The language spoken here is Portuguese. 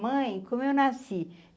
Mãe, como eu nasci?